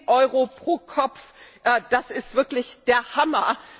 10 Euro pro Kopf das ist wirklich der Hammer!